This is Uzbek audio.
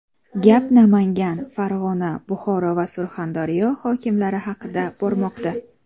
Gap Namangan, Farg‘ona, Buxoro va Surxondaryo hokimlari haqida bormoqda.